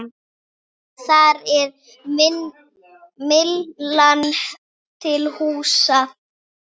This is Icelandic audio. Þar er Myllan til húsa.